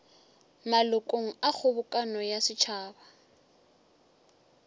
malokong a kgobokano ya setšhaba